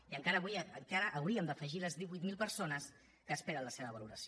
i encara avui hi hauríem d’afegir les divuit mil persones que esperen la seva valoració